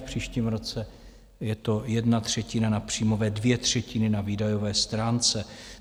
V příštím roce je to jedna třetina na příjmové, dvě třetiny na výdajové stránce.